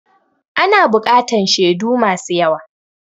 Ana buƙatan shedu masu yawa